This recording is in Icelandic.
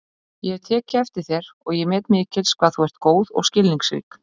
Ég hef tekið eftir þér og ég met mikils hvað þú ert góð og skilningsrík